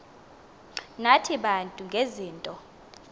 nathi bantu ngezinto